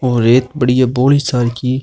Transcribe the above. और एक बड़ी हे बोरी --